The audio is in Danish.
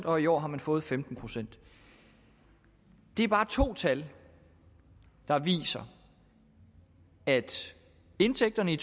og i år har man fået femten procent det er bare to tal der viser at indtægterne i